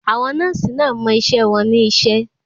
Àwọn nọ́ọ̀sì náà mọ iṣẹ́ wọn ní iṣẹ́.